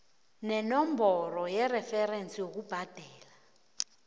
nenomboro yereferensi yokubhadela